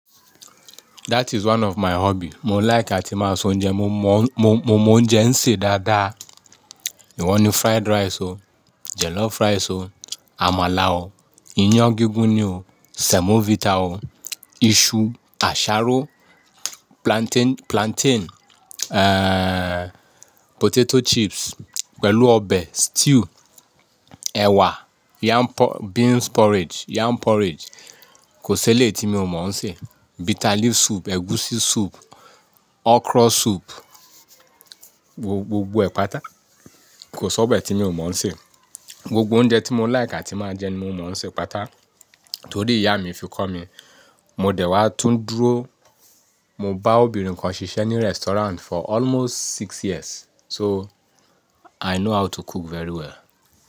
That is one of my hobby. Mo like àti máa s'oúnjẹ. Mo, mọ, mo mo m'oúnjẹ ń sè dáadáa. Ìwọ ni fried rice o, jollof rice o, àmàlà o, iyán gígún ni o, semovita o, iṣu, àsáró, plantain, plantain, eh, potato chips pẹ̀lú ọbẹ̀, stew, ẹ̀wà, yam por-- beans porridge, yam porridge. Kò sí eléyìí tí mi ò mọ̀ ń sè. Bitter leaf soup, ẹ̀gúsí soup, okra soup, gbogbo ẹ̀ pátá. Kò s'ọ̀bẹ̀ tí mi ò mọ̀ ń sè. Gbogbo oúnjẹ tí mo like àti máa jẹ ni mo mọ̀ ń sè pátá torí ìyá mi fi kọ́ mi. Mo dẹ̀ wá tún dúró. Mo bá obìnrin kan ṣiṣẹ́ ní restaurant for almost six years. So i know how to cook very well.